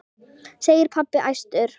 segir pabbi æstur.